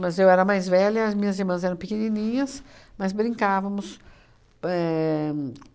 Mas eu era mais velha, as minhas irmãs eram pequenininhas, mas brincávamos. Éh